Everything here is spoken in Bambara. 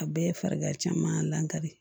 A bɛɛ ye farigan caman lankali